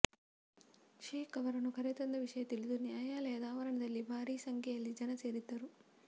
ಶೇಖ್ ಅವರನ್ನು ಕರೆತಂದ ವಿಷಯ ತಿಳಿದು ನ್ಯಾಯಾಲಯದ ಆವರಣದಲ್ಲಿ ಭಾರಿ ಸಂಖ್ಯೆಯಲ್ಲಿ ಜನ ಸೇರಿದ್ದರು